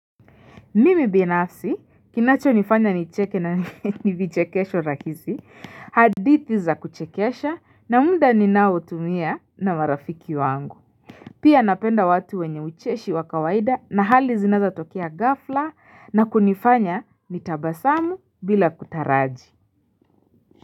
Mimi binafsi kinacho nifanya nicheke na ni vichekesho rahisi hadithi za kuchekesha na mda ninaoutumia na marafiki wangu Pia napenda watu wenye ucheshi wa kawaida na hali zinazo tokea ghafla na kunifanya nitabasamu bila kutaraji.